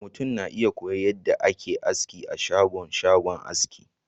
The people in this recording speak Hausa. mutum na iya koyon yadda ake aski a shagon shagon aski